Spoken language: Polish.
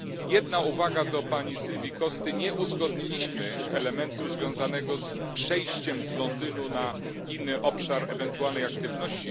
Jedna uwaga do pani Silvii Costy nie uzgodniliśmy elementu związanego z przejściem z Londynu na inny obszar ewentualnej aktywności.